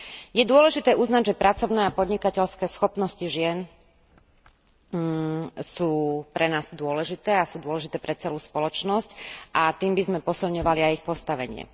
Je dôležité uznať, že pracovné a podnikateľské schopnosti žien sú pre nás dôležité a sú dôležité pre celú spoločnosť, a tým by sme posilňovali aj ich postavenie.